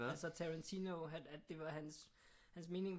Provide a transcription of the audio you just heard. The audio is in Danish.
Altså Tarantino at det var hans mening